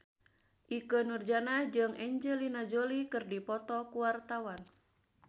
Ikke Nurjanah jeung Angelina Jolie keur dipoto ku wartawan